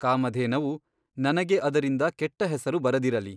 ಕಾಮಧೇನವು ನನಗೆ ಅದರಿಂದ ಕೆಟ್ಟ ಹೆಸರು ಬರದಿರಲಿ.